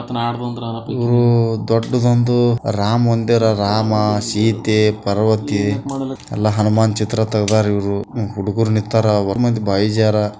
ದೊಡ್ಡದೊಂದು ರಾಮ ಅಂದರೆ ರಾಮ ಸೀತೆ ಪರ್ವತೆ ಎಲ್ಲ ಹನುಮಾನ್ ಚಿತ್ರ ತೆಗೆದವರೆ ಇವರು ಹುಡುಗುರು ನಿತ್ತವರೆ ಅವರು ಮುಂದೆ--